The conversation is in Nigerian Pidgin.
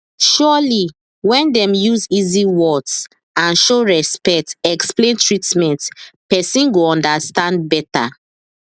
surely when dem use easy words and show respect explain treatment person go understand better